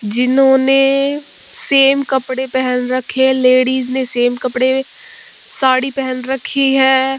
जिन्होंने सेम कपड़े पहन रखे है लेडीज ने सेम कपडे साड़ी पहन रखी है।